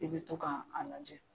I bɛ to k'an a lajɛ.